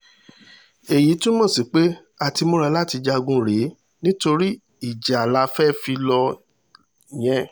èyí túmọ̀ sí pé a ti múra láti jagun rèé nítorí ìjà la fẹ́ẹ́ fi lọ yẹn